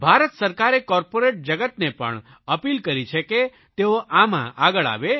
ભારત સરકારે કોર્પોરેટ જગતને પણ અપીલ કરી છે કે તેઓ આમાં આગળ આવે